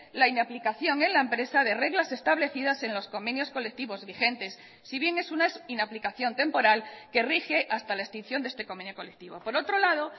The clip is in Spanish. la inaplicación en la empresa de reglas establecidas en los convenios colectivos vigentes si bien es una inaplicación temporal que rige hasta la extinción de este convenio colectivo por otro lado